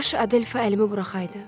Kaş Adelfa əlimi buraxaydı.